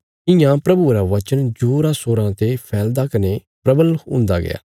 इयां प्रभुये रा वचन जोरासोराँ ते फैलदा कने परबल हुन्दा गया